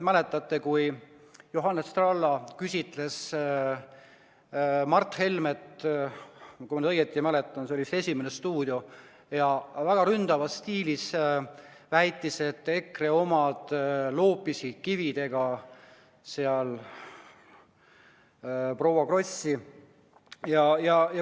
Mäletate, kui Johannes Tralla küsitles Mart Helmet – kui ma nüüd õigesti mäletan, oli see saates "Esimene stuudio" – ja väga ründavas stiilis väitis, et EKRE omad loopisid kividega proua Krossi?